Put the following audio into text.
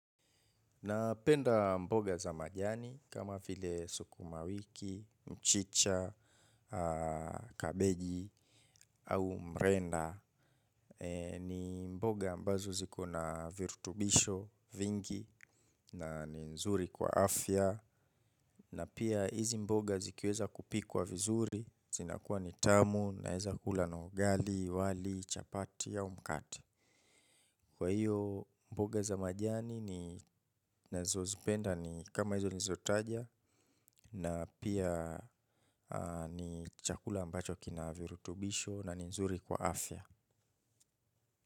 Napenda mboga za majani, kama vile sukuma wiki, mchicha, kabeji, au mrenda. Ni mboga ambazo zikona virutubisho, vingi, na nzuri kwa afya. Na pia hizi mboga zikiweza kupikuwa vizuri, zinakua nitamu, naeza kula na ugali, wali, chapati, au mkate. Kwa hiyo mboga za majani na zozipenda ni kama hizo nilizo taja na pia ni chakula ambacho kina virutubisho na ni nzuri kwa afya.